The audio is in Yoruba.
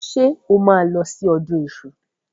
Ṣé o máa lọ sí ọdún iṣu?